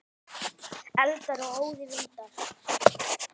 Eldar og óðir vindar